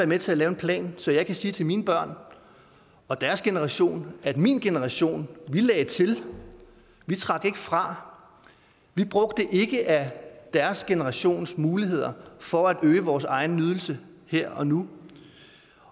med til at lave en plan så jeg kan sige til mine børn og deres generation at min generation lagde til vi trak ikke fra vi brugte ikke af deres generations muligheder for at øge vores egen nydelse her og nu